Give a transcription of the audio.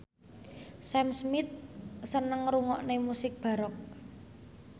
Sam Smith seneng ngrungokne musik baroque